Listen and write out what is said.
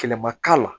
Kɛlɛ ma k'a la